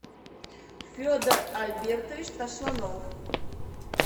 федор альбертович тасланов